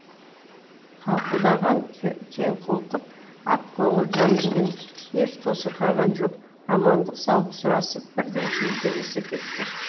қауқылдаған кеңқолтық ақкөңіл жан екен еш тосырқаған жоқ амандық саулық сұрасып бірден шүйіркелесе кетті